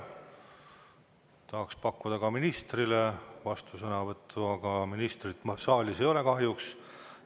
Tahaks pakkuda ministrile vastusõnavõtu võimalust, aga ministrit kahjuks ei ole saalis.